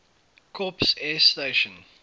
corps air station